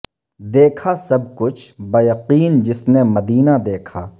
دیکھا سب کچھ بہ یقین جس نے مدینہ دیکھا